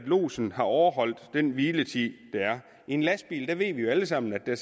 lodsen har overholdt den hviletid der er i en lastbil ved vi jo alle sammen at der